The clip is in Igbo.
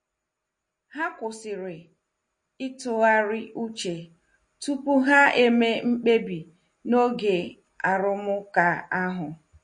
Ha kwụsịrị ịtụgharị uche tupu ha eme mkpebi n'oge arụmụka ahụ.